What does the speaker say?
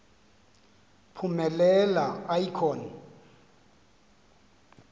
phumelela i com